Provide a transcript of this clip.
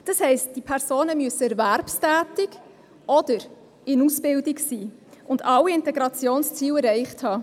Das heisst, diese Personen müssen erwerbstätig oder in Ausbildung sein und alle Integrationsziele erreicht haben.